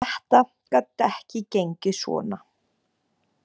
Þetta gat ekki gengið svona.